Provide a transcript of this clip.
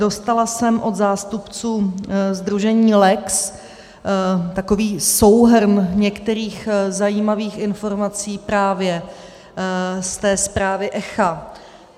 Dostala jsem od zástupců sdružení LEX takový souhrn některých zajímavých informací právě z té zprávy ECHA.